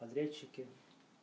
подрядчики